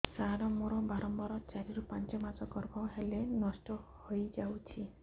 ସାର ମୋର ବାରମ୍ବାର ଚାରି ରୁ ପାଞ୍ଚ ମାସ ଗର୍ଭ ହେଲେ ନଷ୍ଟ ହଇଯାଉଛି